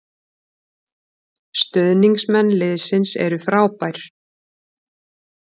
Stuðningsmenn liðsins eru frábær